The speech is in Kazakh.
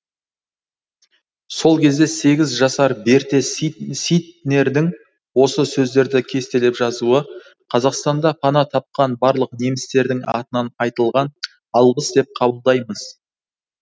сол кезде сегіз жасар берте ситнердің осы сөздерді кестелеп жазуы қазақстанда пана тапқан барлық немістердің атынан айтылған алғыс деп қабылдаймыз